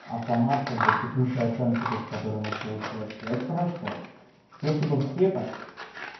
автомат как бы текущая оценка то есть которая у нас получается это хорошо если бы все так ц